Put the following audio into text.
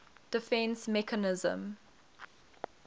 defence mechanism